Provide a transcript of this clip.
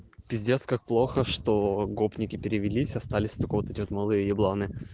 пиздец как плохо что гопники перевелись остались только вот эти вот малые ебланы